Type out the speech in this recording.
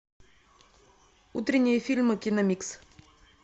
утренние фильмы киномикс